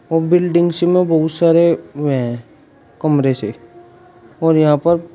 buildings में बहुत सारे हुए हैं कमरे से और यहां पर--